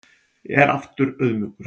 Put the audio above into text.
Er aftur auðmjúkur